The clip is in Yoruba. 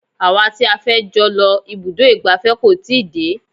Àwọn tí a fẹ́ jọ lọ ibùdó ìgbafẹ́ kò tíì dé.